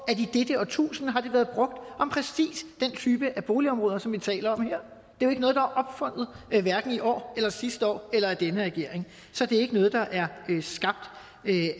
at i dette årtusinde har det været brugt om præcis den type af boligområder som vi taler om her det er ikke noget der er opfundet i år eller sidste år eller af denne regering så det er ikke noget der er skabt